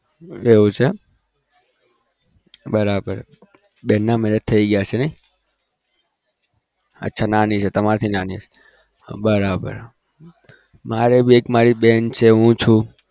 એવું છે એમ બરાબર બેન ના marriage થઇ ગયા છે અચ્છા તમારા થી નાની છે બરાબર મારે બી એક બેન છે હું છુ